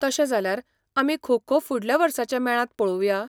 तशें जाल्यार आमी खो खो फुडल्या वर्साच्या मेळांत पळोवया.